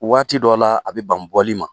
Waati dɔ la, a bɛ ban bɔli ma!